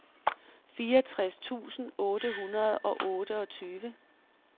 fireogtres tusind otte hundrede og otteogtyve